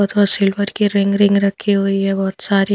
तथा सिल्वर की ring ring रखी हुई है बहोत सारी--